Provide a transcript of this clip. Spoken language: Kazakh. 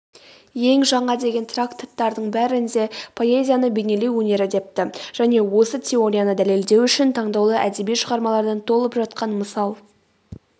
ең жаңа деген трактаттардың бәрінде поэзияны бейнелеу өнері депті және осы теорияны дәлелдеу үшін таңдаулы әдеби шығармалардан толып жатқан мысал